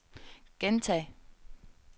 gentag